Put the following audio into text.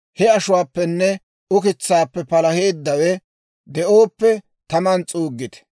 He ashuwaappenne ukitsaappe palaheeddawe de'ooppe taman s'uuggite.